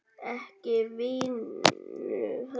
Ekki vinnu heldur.